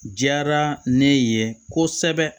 Jara ne ye kosɛbɛ